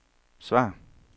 svar